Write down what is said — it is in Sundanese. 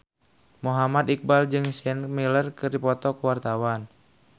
Muhammad Iqbal jeung Sienna Miller keur dipoto ku wartawan